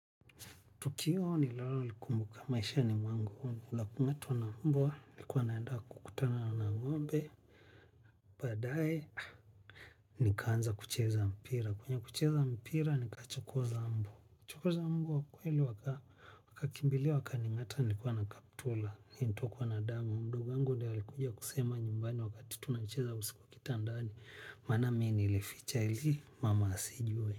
Tukio ninalo likumbuka maishani mwangu ni la kungatwa na mbwa, nilikuwa naenda kukutana na ngombe. Baadaye, nikaanza kucheza mpira. Kwenye kucheza mpira, nikachokoza mbwa. Kuchokoza mbwa kweli wakakimbilia wakaningata nilikuwa na kaptura. Nilitokwa na damu. Ndugu yangu ndio alikuja kusema nyumbani wakati tunacheza usiku kwa kitandani. Maana mimi nilificha ili, mama asijue.